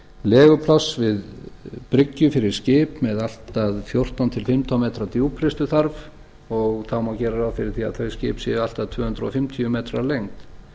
legupláss við bryggju fyrir skip með allt að fjórtán til fimmtán metra djúpristu þarf og það má gera ráð fyrir að þau skip séu allt að tvö hundruð fimmtíu metrar að lengd